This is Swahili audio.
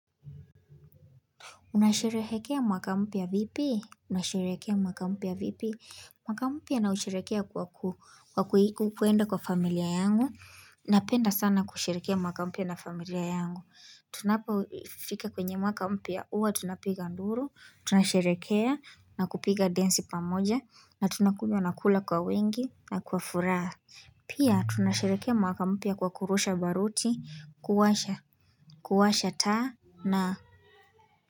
Unasherehekea mwaka mpya vipi? Nasherehekea mwaka mpya vipi? Mwaka mpya na usherehekea kwa kwenda kwa familia yangu. Napenda sana kusherehekea mwaka mpya na familia yangu. Tunapofika kwenye mwaka mpya huwa tunapiga nduru, tunasherehekea na kupiga densi pamoja, na tunakunywa nakula kwa wengi na kwa furaha. Pia tunasherehekea mwaka mpya kwa kurusha baruti, kuwasha, kuwasha taa na.